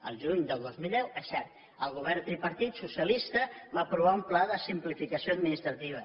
el juny del dos mil deu és cert el govern tripartit socialista va aprovar un pla de simplificació administrativa